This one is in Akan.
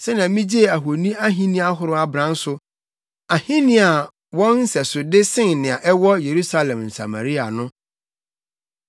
Sɛnea migyee ahoni ahenni ahorow abran so, ahenni a wɔn nsɛsode sen nea ɛwɔ Yerusalem ne Samaria no.